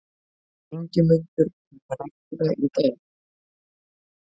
Ingimundur, mun rigna í dag?